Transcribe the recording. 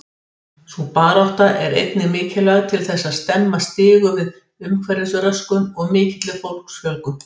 Sú barátta er einnig mikilvæg til þess að stemma stigu við umhverfisröskun og mikilli fólksfjölgun.